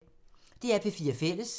DR P4 Fælles